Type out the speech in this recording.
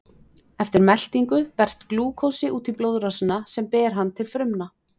Eftir meltingu berst glúkósi út í blóðrásina sem ber hann til frumna.